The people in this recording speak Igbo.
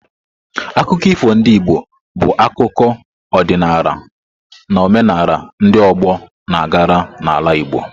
Akụkọ ifo ndị Igbo bụ akụkọ, ọdịnala na omenala ndị ọgbọ na-agara n’ala Igbo.